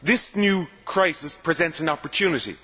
This new crisis presents an opportunity.